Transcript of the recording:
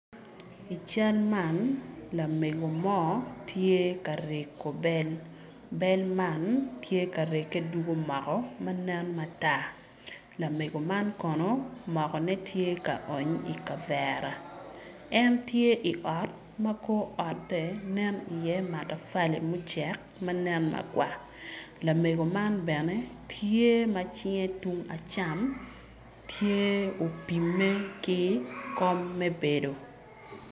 I cal man lamego mo tye ka rego bel, bel man tye ka rege dugo moko manen matar, lamego man kono, mokone tye ka oony ikabera en tye i ot ma kor otte nen i ye matapali mucek manen makwar, lamego man bene tye macinge tunge acam tye opime ki kom me bedo.